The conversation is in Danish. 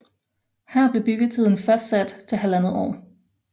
Her blev byggetiden fastsat til halvandet år